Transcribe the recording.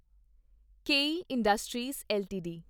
ਕੇਈ Industries LTD